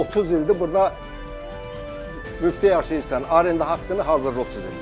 30 ildir burda Müfti yaşayırsan, arenda haqqını hazırıq biz eləyək.